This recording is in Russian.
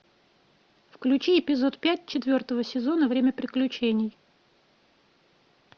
включи эпизод пять четвертого сезона время приключений